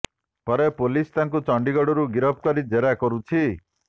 ପରେ ପୋଲିସ ତାଙ୍କୁ ଚଣ୍ଡିଗଡରୁ ଗିରଫ କରି ଜେରା କରୁଛି